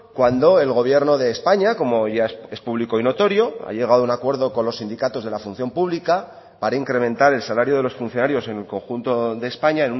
cuando el gobierno de españa como ya es público y notorio ha llegado a un acuerdo con los sindicatos de la función pública para incrementar el salario de los funcionarios en el conjunto de españa